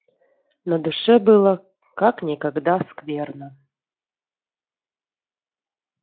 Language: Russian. на душе было как никогда скверно